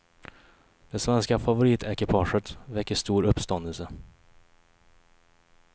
Det svenska favoritekipaget väcker stor uppståndelse.